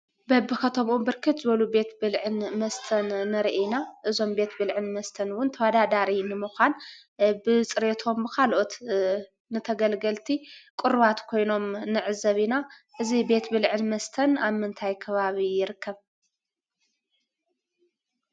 በቢከተምኡ ብርክት ዝበሉ ቤት ምግብን መስተን ንሪኢ ኢና፡፡ እዞም ቤት ብልዕን መስተን ውን ተወዳዳሪ ንምዃን ብፅሬቶም ብኻልኦት ንተገልገልቲ ቅሩባት ኮይኖም ንዕዘብ ኢና፡፡ እዚ ቤት ብልዕን መስተን ኣብ ምንታይ ከባቢ ይርከብ?